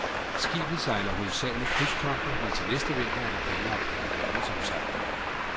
Skibet sejler hovedsageligt krydstogter, men til næste vinter er der planlagt en verdensomsejling.